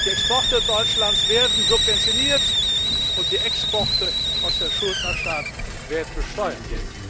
Die Exporte Deutschlands werden subventioniert, und die Exporte aus den Schuldnerstaaten werden besteuert.